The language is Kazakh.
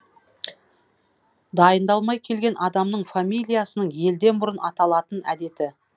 дайындалмай келген адамның фамилиясының елден бұрын аталатын әдеті